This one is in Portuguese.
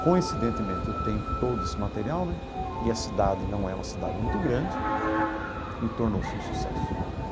Coincidentemente, eu tenho todo esse material né e a cidade não é uma cidade muito grande e tornou-se um sucesso.